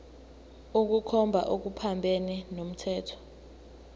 ukukhomba okuphambene nomthetho